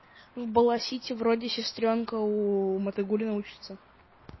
в бала сити вроде сестрёнка у мотыгуллина учиться